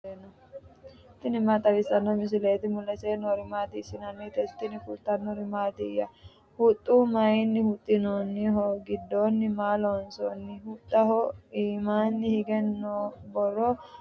tini maa xawissanno misileeti ? mulese noori maati ? hiissinannite ise ? tini kultannori mattiya? huxxu mayiinni huxamminno? gidoonni maa loonsanni? Huxxaho iimmanni higge borro mayiittanotte nootti?